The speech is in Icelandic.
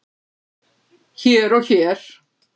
hér og hér.